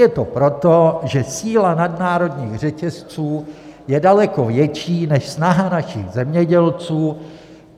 Je to proto, že síla nadnárodních řetězců je daleko větší než snaha našich zemědělců.